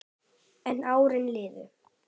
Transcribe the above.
En árin liðu.